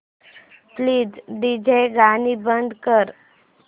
please DJ गाणी बंद कर